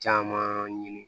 Caman ɲini